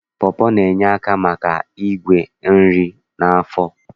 Pọpọ na-enye aka maka igwe nri n'afọ